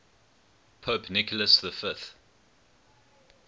pope nicholas v